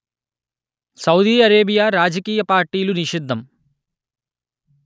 Saudi Arabia రాజకీయ పార్టీలు నిషిద్ధం